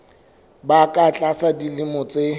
ba ka tlasa dilemo tse